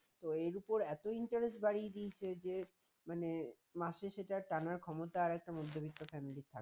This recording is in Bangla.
তো এর উপর এতটা interest বাড়িয়ে দিয়েছে যে মানে মাসে শেষে তার টানার ক্ষমতা এখন মধ্যবিত্ত family র থাকে না